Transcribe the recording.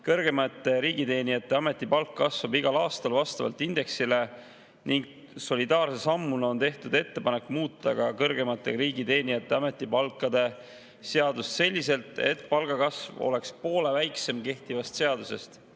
Kõrgemate riigiteenijate ametipalk kasvab igal aastal vastavalt indeksile ning solidaarse sammuna on tehtud ettepanek muuta ka kõrgemate riigiteenijate ametipalkade seadust selliselt, et palgakasv oleks poole väiksem, kui kehtivas seaduses sätestatud.